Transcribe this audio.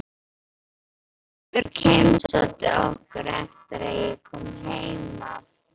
Sigurbjörg heimsótti okkur eftir að ég kom heim af